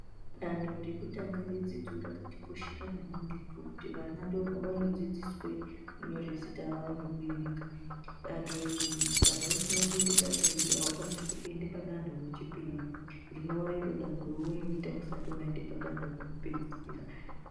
Dando rekutanga redzidzo rakatikoshera maningi ngokuti vana ndoopavanodzidziswe kunyore zita avo nekuerenga. Dando iri kana usina kuende dando iri haukwanisi kuende dando rechipiri, rinova iro danho raunoita usati waende padanho rekupedzisira.